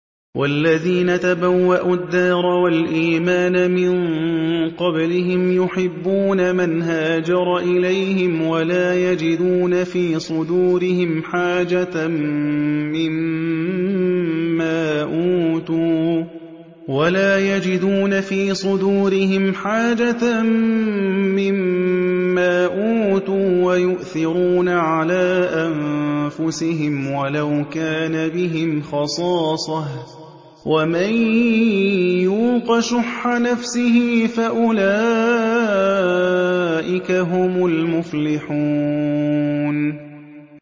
وَالَّذِينَ تَبَوَّءُوا الدَّارَ وَالْإِيمَانَ مِن قَبْلِهِمْ يُحِبُّونَ مَنْ هَاجَرَ إِلَيْهِمْ وَلَا يَجِدُونَ فِي صُدُورِهِمْ حَاجَةً مِّمَّا أُوتُوا وَيُؤْثِرُونَ عَلَىٰ أَنفُسِهِمْ وَلَوْ كَانَ بِهِمْ خَصَاصَةٌ ۚ وَمَن يُوقَ شُحَّ نَفْسِهِ فَأُولَٰئِكَ هُمُ الْمُفْلِحُونَ